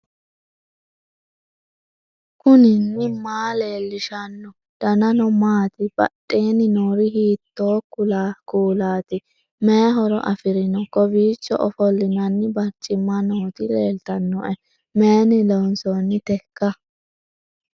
knuni maa leellishanno ? danano maati ? badheenni noori hiitto kuulaati ? mayi horo afirino ? kowicho ofollinanni bariccimma nooti leeltannoe mayinni loonsoonniteiika